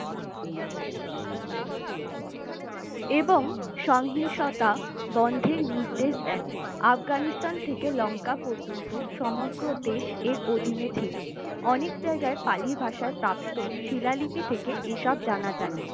এবং সহিংসতা বন্ধের নির্দেশ দেন আফগানিস্তান থেকে লঙ্কা পর্যন্ত সমগ্র দেশে এর অধীনে ছিল অনেক জায়গায় পালি ভাষার প্রাপ্ত শিলালিপি থেকে এসব জানা যায়